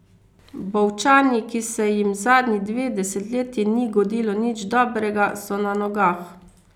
Bovčani, ki se jim zadnji dve desetletji ni godilo nič dobrega, so na nogah.